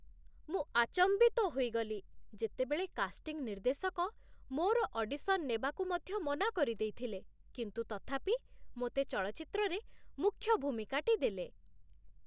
ମୁଁ ଆଚମ୍ବିତ ହୋଇଗଲି, ଯେତେବେଳେ କାଷ୍ଟିଂ ନିର୍ଦ୍ଦେଶକ ମୋର ଅଡିସନ୍ ନେବାକୁ ମଧ୍ୟ ମନା କରିଦେଇଥିଲେ କିନ୍ତୁ ତଥାପି ମୋତେ ଚଳଚ୍ଚିତ୍ରରେ ମୁଖ୍ୟ ଭୂମିକାଟି ଦେଲେ।